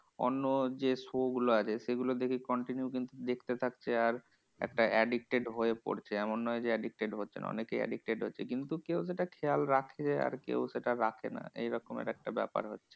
অন্য যে show গুলো আছে সেগুলো দেখে continue কিন্তু দেখতে থাকছে, আর একটা addicted হয়ে পড়ছে। এমন নয় যে addicted হচ্ছে না, অনেকেই addicted হচ্ছে। কিন্তু কেউ সেটা খেয়াল রাখছে, আর কেউ সেটা রাখে না এইরকম আরেকটা ব্যাপার হয়।